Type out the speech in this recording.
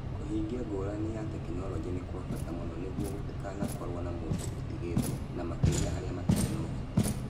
Kũhingia ngũrani ya tekinolonjĩ nĩ kwa bata mũno nĩguo gũtigakorũo na mũndũ ũtigĩtwo, na makĩria arĩa matarĩ na ũhoti.